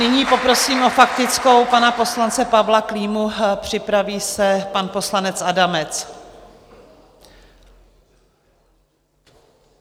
Nyní poprosím o faktickou pana poslance Pavla Klímu, připraví se pan poslanec Adamec.